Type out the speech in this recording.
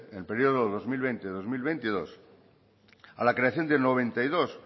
en el periodo dos mil veinte dos mil veintidós a la creación de noventa y dos